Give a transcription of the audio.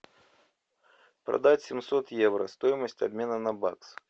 продать семьсот евро стоимость обмена на бакс